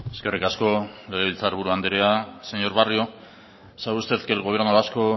eskerrik asko legebiltzar buru andrea señor barrio sabe usted que el gobierno vasco